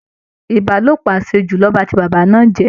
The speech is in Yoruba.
Ìbálòpọ̀ àṣejù ló ba ti bàbá náà jẹ́